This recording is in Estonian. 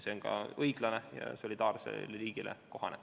See on ka õiglane ja solidaarsele riigile kohane.